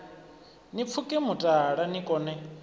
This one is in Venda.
ni pfuke mutala ni kone